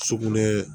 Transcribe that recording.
Sugunɛ